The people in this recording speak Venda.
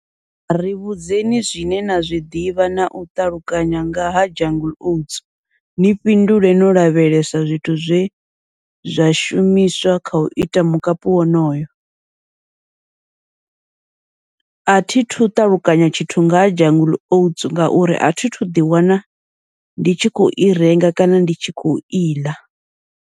Ri vhudzekani zwine na zwiḓivha nau ṱalukanya nga ha jungle oats, ni fhindule no lavhelesa zwithu zwe zwa shumiswa kha u ita mukapu wonoyo. Athi thu ṱalukanya tshithu ngaha jungle oats, ngauri athi thu ḓi wana ndi tshi khou i renga kana ndi tshi khou iḽa.